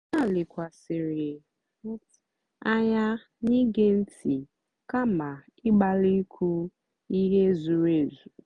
ha lèkwàsị̀rị́ ànyá n'ìgé ntị́ kàma ị̀gbálì ìkwú ihe zùrù èzù.